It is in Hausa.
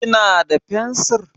Kina da fensiri?